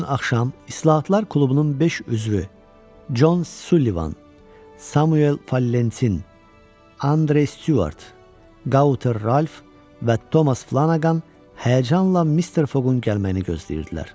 Həmin gün axşam İslahatlar klubunun beş üzvü, John Sullivan, Samuel Fallentin, Andrew Stuart, Gauter Ralph və Thomas Flanagan həyəcanla Mr. Fogun gəlməyini gözləyirdilər.